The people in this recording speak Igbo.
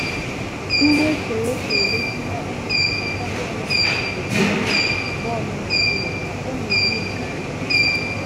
Ihe eserese egosila onye nchịkọta bọọlụ Naịjirịa bọọlụ Naịjirịa ka ọ na-eri ngarị́